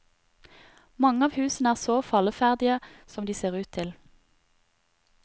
Mange av husene er så falleferdige som de ser ut til.